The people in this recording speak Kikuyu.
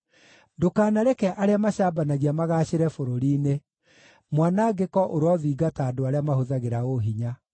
Ndũkanareke arĩa macambanagia magaacĩre bũrũri-inĩ; mwanangĩko ũrothingata andũ arĩa mahũthagĩra ũhinya.